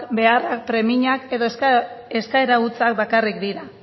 beharrak premiak edo eskaera hutsak bakarrik dira